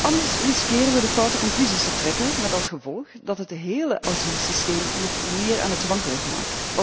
Anders riskeren we de foute conclusies te trekken, met als gevolg dat het hele asielsysteem nog meer aan het wankelen gaat.